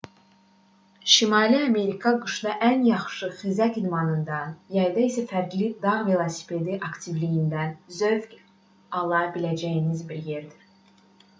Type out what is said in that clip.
şimali amerika qışda ən yaxşı xizək idmanından yayda isə fərqli dağ velosipedi aktivliyindən zövq ala biləcəyiniz bir yerdir